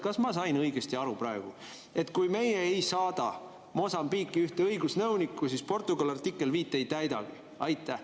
Kas ma sain õigesti aru praegu, et kui meie ei saada Mosambiiki ühte õigusnõunikku, siis Portugal artiklit 5 ei täidagi?